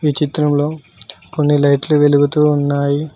ఈ చిత్రంలో కొన్ని లైట్లు వెలుగుతూ ఉన్నాయి.